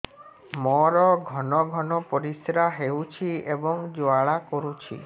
ମୋର ଘନ ଘନ ପରିଶ୍ରା ହେଉଛି ଏବଂ ଜ୍ୱାଳା କରୁଛି